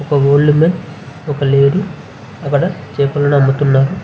ఒక old man ఒక lady అక్కడ చేపలను అమ్ముతున్నారు.